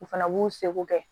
U fana b'u seko kɛ